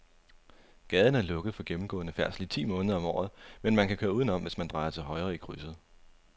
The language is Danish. Gaden er lukket for gennemgående færdsel ti måneder om året, men man kan køre udenom, hvis man drejer til højre i krydset.